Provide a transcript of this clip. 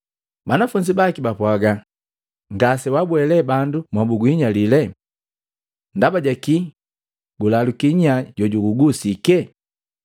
Banafunzi baki baapwaga, “Ngase wabweni lee bandu mobuguhinyila jee. Ndaba ja kii gulaluki nya jojugugusike?”